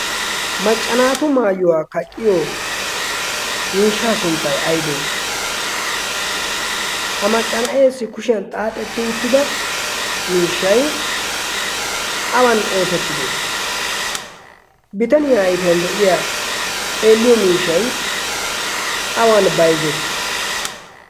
Maccanaatu maayuwaa kaqqiyo miishshaa sunttai aibee ha macca na'essi kushiyan xaaxetti uttida miishshai awan oosettite bitaniyaa aifiyan de'iya xeelliyo miishshai awan bayzzettii?